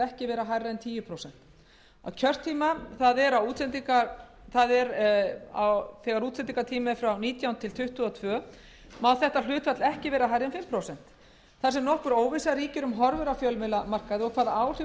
ekki vera hærra en tíu prósent á kjörtíma það er útsendingartíma frá nítján til tuttugu og tvö má hlutfall þetta ekki vera hærra en fimm prósent þar sem nokkur óvissa ríkir um horfur á fjölmiðlamarkaði og hvaða áhrif